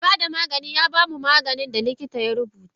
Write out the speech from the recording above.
Me bada Maganin yabamu maganin da likita ya rubuta.